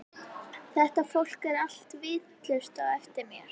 Þetta fólk er allt vitlaust á eftir mér.